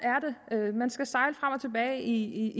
er det man skal sejle frem og tilbage i